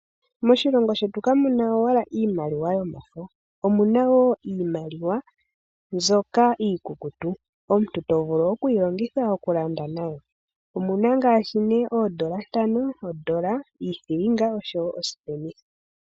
Moshilongo shetu kamuna owala iimaliwa yomafo, omuna wo iimaliwa mbyoka iikukutu, omuntu to vulu okuyi longitha oku landa nayo. Omuna ngaashi ne oondola ntano, ondola, iithilinga oshowo oosipenitha.